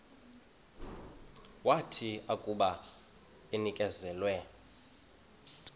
wathi akuba enikezelwe